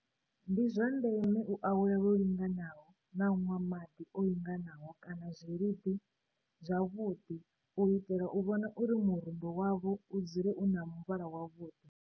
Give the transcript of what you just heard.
Ndi zwa ndeme u awela lwo linganaho na u nwa maḓi o linganaho kana zwiluḓi zwavhuḓi u itela u vhona uri murundo wavho u dzule u na muvhala wavhuḓi.